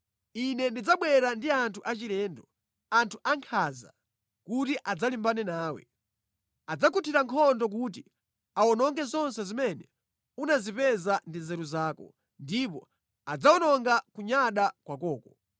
Ine ndidzabwera ndi anthu achilendo, anthu ankhanza, kuti adzalimbane nawe. Adzakuthira nkhondo kuti awononge zonse zimene unazipeza ndi nzeru zako, ndipo adzawononga kunyada kwakoko.